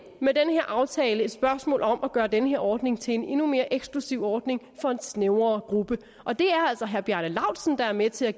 med den her aftale et spørgsmål om at gøre den her ordning til en endnu mere eksklusiv ordning for en mere snæver gruppe og det er altså herre bjarne laustsen der er med til at